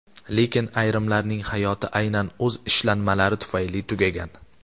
Lekin ayrimlarning hayoti aynan o‘z ishlanmalari tufayli tugagan.